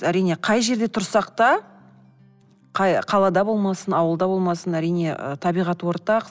әрине қай жерде тұрсақ та қай қалада болмасын ауылда болмасын әрине ы табиғат ортақ